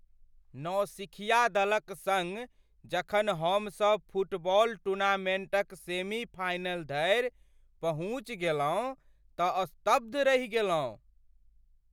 नौसिखिया दलक सङ्ग जखन हमसब फुटबॉल टूर्नामेन्टक सेमी फाइनल धरि पहुँचि गेलहुँ तँ स्तब्ध रहि गेलहुँ।